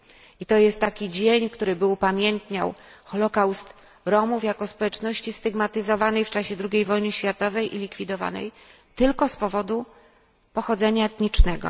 I to jest taki dzień, który upamiętniałby Zagładę Romów jako społeczności stygmatyzowanej w czasie II wojny światowej i likwidowanej tylko z powodu pochodzenia etnicznego.